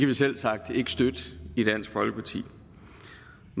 vi selvsagt ikke støtte i dansk folkeparti